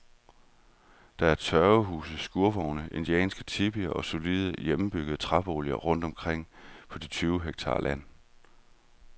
Der er tørvehuse, skurvogne, indianske tipier og solide, hjemmebyggede træboliger rundt omkring på de tyve hektar land.